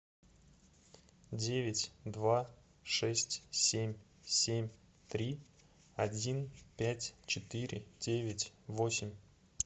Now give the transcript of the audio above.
девять два шесть семь семь три один пять четыре девять восемь